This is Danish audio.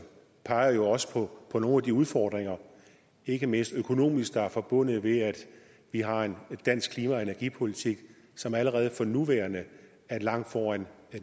peger jo også på nogle af de udfordringer ikke mindst økonomiske udfordringer der er forbundet med at vi har en dansk klima og energipolitik som allerede for nuværende er langt foran